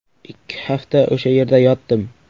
Ikki hafta o‘sha yerda yotdim.